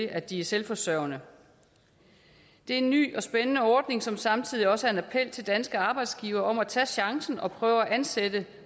at de er selvforsørgende det er en ny og spændende ordning som samtidig også er en appel til danske arbejdsgivere om at tage chancen og prøve at ansætte